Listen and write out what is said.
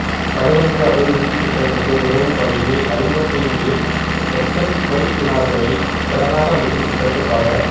களு கங்கை அபிவிருத்தித் திட்டத்துக்கு உதவும் வகையில் ஐம்பத்தைந்து இலட்சம் குவைத் தினார்களை கடனாக அளிக்கும் திட்டத்துக்கா